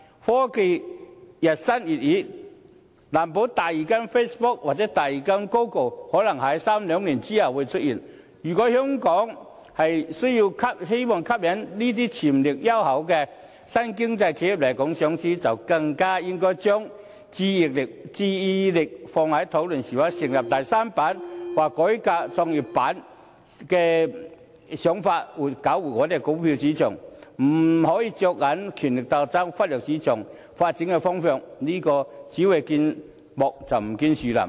科技日新月異，難保第二間 Facebook 或第二間 Google 可能在兩三年後出現，如果香港希望吸引這些潛力優厚的新經濟企業來港上市，便更應該將注意力放在討論是否成立第三板或改革創業板上，設法搞活股票市場，不可以着眼於權力鬥爭，忽略市場發展的方向，這樣是只見樹木，而不見森林。